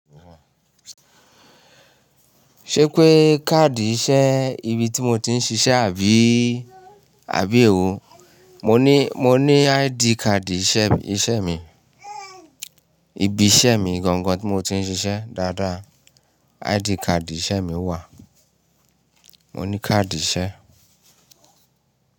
Ṣé pé káàdì iṣẹ́ ibi tí mo ti ń ṣiṣẹ́ àbí, àbí èwo? Mo ní, mo ní ID card iṣẹ́, iṣẹ́ mi. Ibi iṣẹ́ mi gangan tí mo ti ń ṣiṣẹ́ dáadáa. ID card iṣẹ́ mi wà. Mo ní káàdì iṣẹ́.